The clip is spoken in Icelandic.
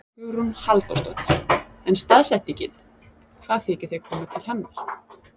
Hugrún Halldórsdóttir: En staðsetningin, hvað þykir þér koma til hennar?